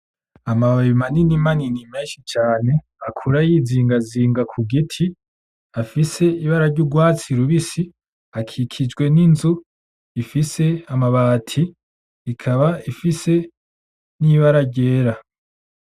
Amababi manini manini menshi cane, akura yizingazinga ku giti, afise ibara ry'urwatsi rubisi, akikijwe n'inzu ifise amabati, ikaba ifise n'ibara ryera.